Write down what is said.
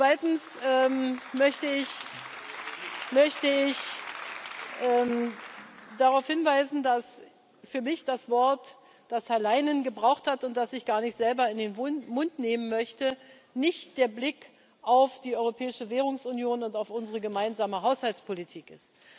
Zweitens möchte ich darauf hinweisen, dass für mich das Wort, das Herr Leinen gebraucht hat und das ich gar nicht selber in den Mund nehmen möchte, nicht der Blick auf die europäische Währungsunion und auf unsere gemeinsame Haushaltspolitik ist.